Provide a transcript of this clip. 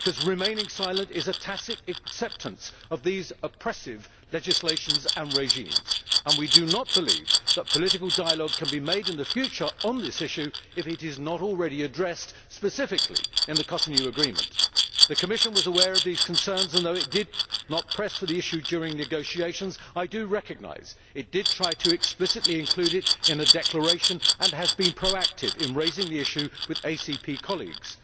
Remaining silent is a tacit acceptance of such oppressive legislation and regimes. We do not believe that political dialogue can be carried out in the future on this issue if it is not already addressed, specifically in the Cotonou Agreement. The Commission was aware of these concerns and, although it did not press for the issue during negotiations, I do recognise that it did try to explicitly include it in a declaration, and that it has been proactive in raising the issue with ACP colleagues.